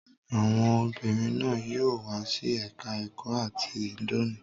Àwọn obìnrin náà yóò wá sí ẹ̀ka-ẹ̀kọ́ áátì lónìí.